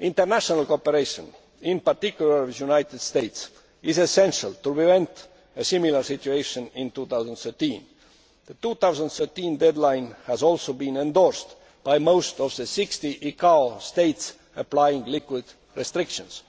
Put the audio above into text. International cooperation, in particular with the United States, is essential to prevent a similar situation in 2013. The 2013 deadline has also been endorsed by most of the 60 ICAO states applying liquid restrictions.